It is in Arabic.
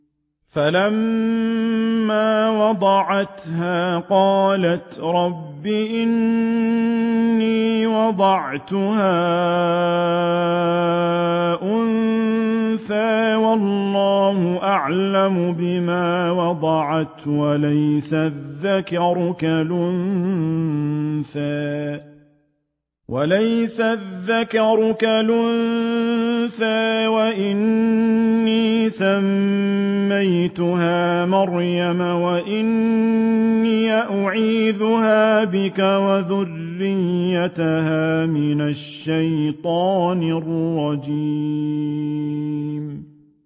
فَلَمَّا وَضَعَتْهَا قَالَتْ رَبِّ إِنِّي وَضَعْتُهَا أُنثَىٰ وَاللَّهُ أَعْلَمُ بِمَا وَضَعَتْ وَلَيْسَ الذَّكَرُ كَالْأُنثَىٰ ۖ وَإِنِّي سَمَّيْتُهَا مَرْيَمَ وَإِنِّي أُعِيذُهَا بِكَ وَذُرِّيَّتَهَا مِنَ الشَّيْطَانِ الرَّجِيمِ